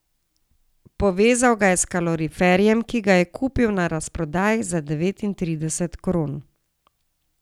Povezal ga je s kaloriferjem, ki ga je kupil na razprodaji za devetintrideset kron.